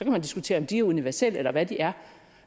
man diskutere om de er universelle eller hvad de er